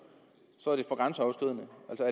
så